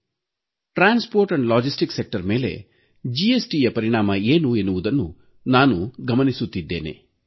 ಸಾರಿಗೆ ಮತ್ತು ಸರಕು ಸಾಗಣೆ ಮೇಲೆ ಜಿಎಸ್ಟಿ ಪರಿಣಾಮ ಏನು ಎಂಬುದನ್ನು ನಾನು ಗಮನಿಸುತ್ತಿದ್ದೇನೆ